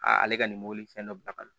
A ale ka nin mobili fɛn dɔ bila ka na